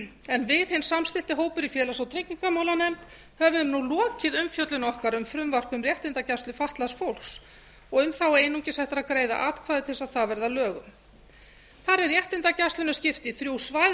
en við hinn samstillti hópur í félags og tryggingamálanefnd höfum nú lokið umfjöllun okkar um frumvarp um réttindagæslu fatlaðs fólks og er þá einungis eftir að greiða atkvæði til að það verði að lögum þar er réttindagæslunni skipt í þrjú svæði